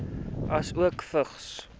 asook vigs